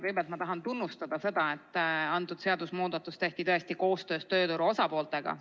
Kõigepealt ma tahan tunnustada seda, et antud seadusemuudatus tehti tõesti koostöös tööturu osapooltega.